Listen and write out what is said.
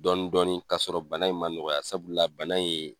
Dɔɔnin-dɔɔnin kasɔrɔ bana in ma nɔgɔya sabula bana ye